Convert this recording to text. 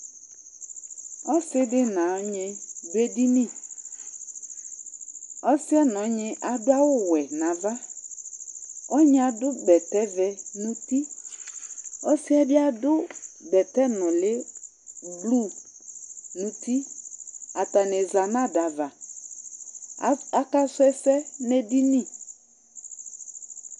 Ɔsɩ dɩ nʋ ɔnyɩ dʋ edini Ɔsɩ yɛ nʋ ɔnyɩ adʋ awʋwɛ nʋ ava Ɔnyɩ adʋ bɛtɛvɛ nʋ uti Ɔsɩ yɛ bɩ adʋ bɛtɛnʋlɩ blu nʋ uti Atanɩ za nʋ ada ava Af akasʋ ɛsɛ nʋ edini